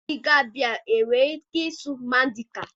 Ndị Gambian há e nwere ike ịsụ Mandinka?